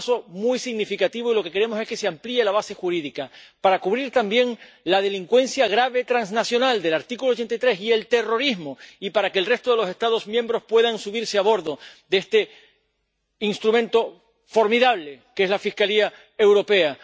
Es un paso muy significativo, y lo que queremos es que se amplíe la base jurídica para cubrir también la delincuencia grave transnacional del artículo 83 y el terrorismo y para que el resto de los Estados miembros pueda subirse a bordo de este instrumento formidable que es la Fiscalía Europea.